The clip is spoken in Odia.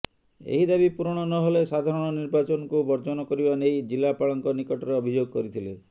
ଏହି ଦାବି ପୂରଣ ନହେଲେ ସାଧାରଣ ନିର୍ବାଚନକୁ ବର୍ଜନ କରିବା ନେଇ ଜିଲାପାଳଙ୍କ ନିକଟରେ ଅଭିଯୋଗ କରିଥିଲେ